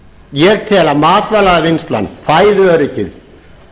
ég tel að matvælavinnslan fæðuöryggið